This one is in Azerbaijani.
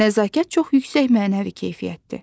Nəzakət çox yüksək mənəvi keyfiyyətdir.